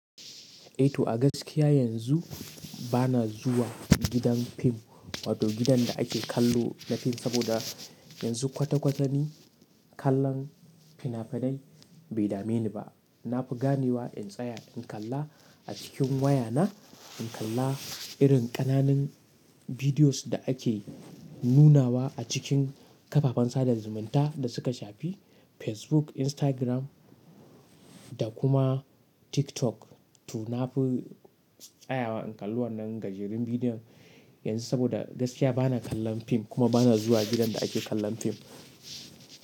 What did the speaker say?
Eh to a gaskiya yanzu, bana zuwa gidan fim, wato gidan da ake kallo na fim, saboda yanzu kwata kwata ni kallon fina-finai bai dame ni ba. Na fi ganewa in tsaya in kalla a cikin waya na, in kalla irin ƙananun bidiyoz da ake nunawa a cikin kafafen sada zumunta da suka shafi Facebook, Instagram da kuma TikTok. To na fi tsayawa in kalli wannan gajerun bidiyon, yanzu saboda gaskiya bana kallon fim kuma bana zuwa gidan da ake kallon fim.